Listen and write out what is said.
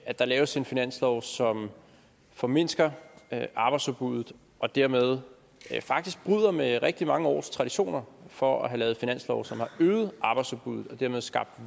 at der laves en finanslov som formindsker arbejdsudbuddet og dermed faktisk bryder med rigtig mange års traditioner for at have lavet finanslove som har øget arbejdsudbuddet og dermed skabt